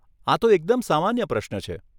આ તો એકદમ સામાન્ય પ્રશ્ન છે.